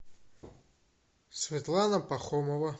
светлана пахомова